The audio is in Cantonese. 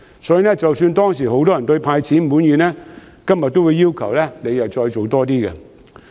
先前即使很多人對"派錢"滿意，今天也會要求政府多走一步。